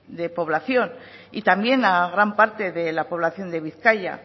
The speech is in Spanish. de población y también a gran parte de la población de bizkaia